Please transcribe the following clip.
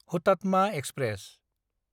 Hutatma express